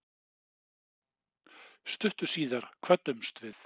Stuttu síðar kvöddumst við.